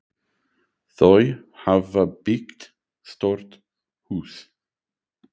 Þau hafa byggt stórt hús.